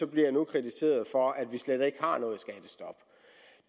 bliver jeg nu kritiseret for at vi slet ikke har noget skattestop